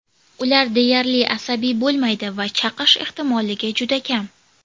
Ular deyarli asabiy bo‘lmaydi va chaqish ehtimolligi juda kam.